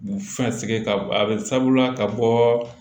Fɛn sɛgɛsɛgɛ ka bɔ a bɛ sabula ka bɔ